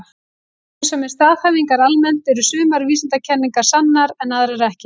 Rétt eins og með staðhæfingar almennt eru sumar vísindakenningar sannar en aðrar ekki.